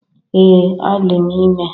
Ee, adị m ime